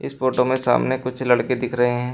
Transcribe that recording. इस फोटो में सामने कुछ लड़के दिख रहे हैं।